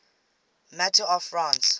matter of france